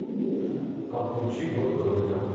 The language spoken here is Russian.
подключи год кролика